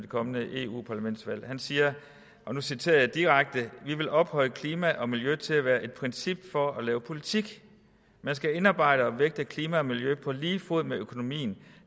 kommende eu parlamentsvalg og nu citerer jeg direkte vi vil ophøje klima og miljø til at være et princip for at lave politik man skal indarbejde og vægte klima og miljø på lige fod med økonomi